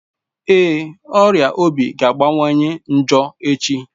Ee, ọrịa obi ga-akawanye njọ echi